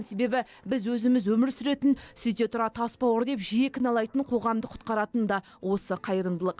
себебі біз өзіміз өмір сүретін сөйте тұра тасбауыр деп жиі кінәлайтын қоғамды құтқаратын да осы қайырымдылық